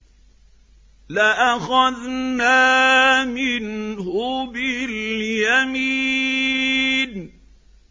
لَأَخَذْنَا مِنْهُ بِالْيَمِينِ